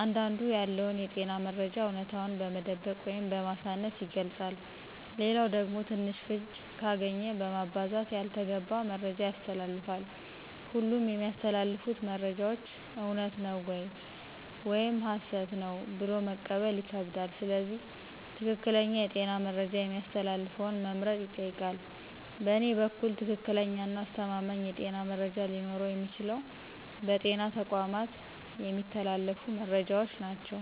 አንዳንዱ ያለውን የጤና መረጃ አውነታውን በመደበቅ ወይም በማሳነስ ይገልጻል ሌላኛው ደግሞ ትንሽ ፍንጭ ካገኘ በማባዛት ያልተገባ መረጃ ያስተላልፋል ሁሉም የሚተላለፉት መረጃዎች እውነት ነው ወይም ሀሰት ነው ብሎ መቀበል ይከብዳል ስለዚህ ትክክለኛ የጤና መረጃ የሚያስተላልፈውን መምረጥ ይጠይቃል በእኔ በኩል ትክክለኛና አስተማማኝ የጤና መረጃ ሊኖረው የሚችለው በጤና ተቋማት የሚተላለፉት መረጃዎች ናቸው